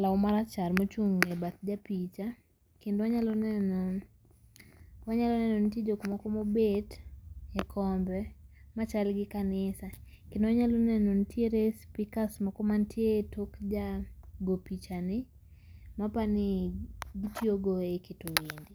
lau marachar mochung' e bath japicha, kendo wanyalo neno, wanyalo neno nitie jok moko mobet e kombe, ma chal gi kanisa. Kendo wanyalo neno nitiere speakers moko manitie tok ja gopicha ni mapani gitiyogo e keto wende.